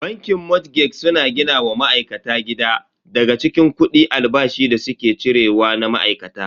Bankin motgeg suna gina wa ma'aikata gida daga cikin kudi albashin da suke cire wa na ma'aikata.